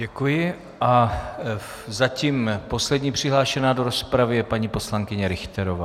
Děkuji a zatím poslední přihlášená do rozpravy je paní poslankyně Richterová.